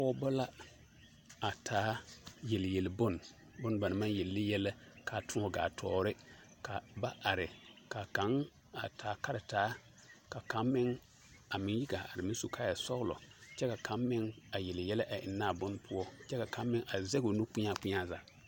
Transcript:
pɔgba la a taa yeliyeli bon ba naŋ maŋ yeli ne yɛllɛ ka tuuŋ gaa toore ka ba are ka kang a taa karetaa ka kang meŋ yi gaa are a su kaaya sɔŋlɔ kyɛ ka kang meŋ yeli yɛllɛ a eŋne a bon poɔ ka kang meŋ a sege o nu kpeŋa zaa.